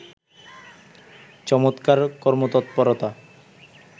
চমৎকার কর্মতৎপরতা